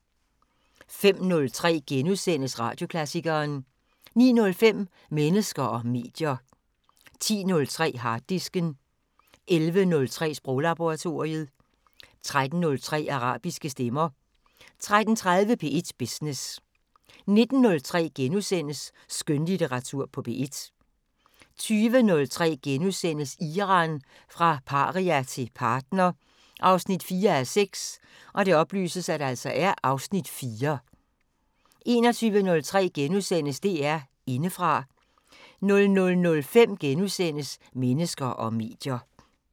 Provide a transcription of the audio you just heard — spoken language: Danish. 05:03: Radioklassikeren * 09:05: Mennesker og medier 10:03: Harddisken 11:03: Sproglaboratoriet 13:03: Arabiske stemmer 13:30: P1 Business 19:03: Skønlitteratur på P1 * 20:03: Iran – fra paria til partner 4:6 (Afs. 4)* 21:03: DR Indefra * 00:05: Mennesker og medier *